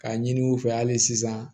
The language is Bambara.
K'a ɲini u fɛ hali sisan